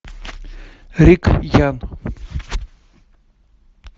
рик янг